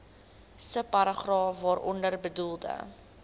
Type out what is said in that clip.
subparagraaf waaronder bedoelde